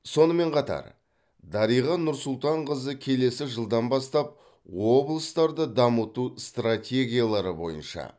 сонымен қатар дариға нұрсұлтанқызы келесі жылдан бастап облыстарды дамыту стратегиялары бойынша